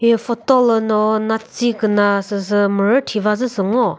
he photo lüno natsi küna süsü mürü thivazü süsü ngo.